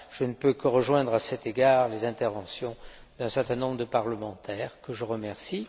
Je ne peux que rejoindre, à cet égard, les interventions d'un certain nombre de députés, que je remercie.